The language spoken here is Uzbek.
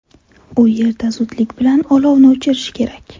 U yerda zudlik bilan olovni o‘chirish kerak.